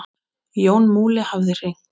Jón Múli hafði hringt.